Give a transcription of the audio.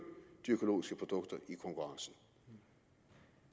de økologiske produkter i konkurrencen